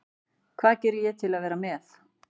Hvað geri ég til að vera með?